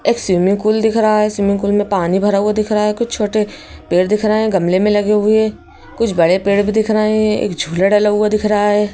एक swimming pool दिख रहा है स्विमिंग पूल में पानी भरा हुआ दिख रहा है कुछ छोटे पेड़ दिख रहे हैं गमले में लगे हुए कुछ बड़े पेड़ भी दिख रहे हैं एक झूला डला हुआ दिख रहा है।